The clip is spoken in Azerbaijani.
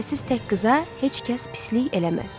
Kimsəsiz tək qıza heç kəs pislik eləməz.